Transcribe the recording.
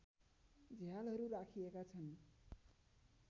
झ्यालहरू राखिएका छन्